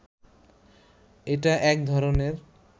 এটা একধরনের